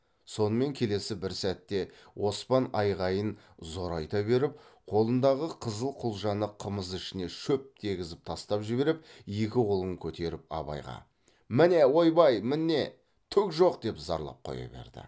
сонымен келесі бір сәтте оспан айғайын зорайта беріп қолындағы қызыл құлжаны қымыз ішіне шөп дегізіп тастап жіберіп екі қолын көтеріп абайға міне ойбай міне түк жоқ деп зарлап қоя берді